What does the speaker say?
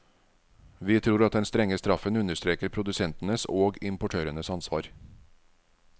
Vi tror at den strenge straffen understreker produsentenes og importørenes ansvar.